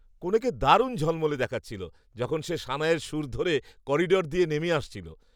কনেকে দারুণ ঝলমলে দেখাচ্ছিল, যখন সে সানাইয়ের সুর ধরে করিডোর দিয়ে নেমে আসছিল।